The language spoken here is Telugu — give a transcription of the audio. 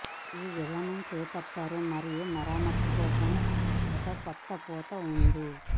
ఈ విధానం చేపట్టారు మరియు మరమ్మతు కోసం ఒక కొత్త పూత ఉంది